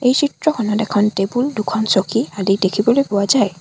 এই চিত্ৰখনত এখন টেবুল দুখন চকী আদি দেখিবলৈ পোৱা যায়।